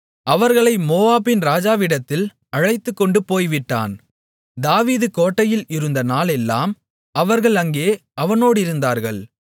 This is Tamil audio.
அவர்களை மோவாபின் ராஜாவிடத்தில் அழைத்துக்கொண்டு போய்விட்டான் தாவீது கோட்டையில் இருந்த நாளெல்லாம் அவர்கள் அங்கே அவனோடிருந்தார்கள்